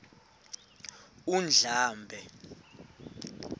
undlambe